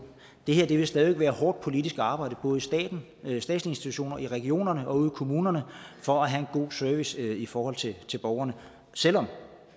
det her vil stadig væk være hårdt politisk arbejde både i statslige institutioner i regionerne og ude i kommunerne for at have en god service i forhold til borgerne selv om